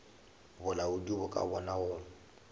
bolaodi bo ka bona go